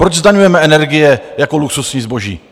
Proč zdaňujeme energie jako luxusní zboží?